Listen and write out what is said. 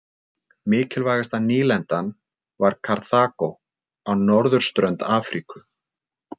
Mikilvægasta nýlendan var Karþagó á norðurströnd Afríku.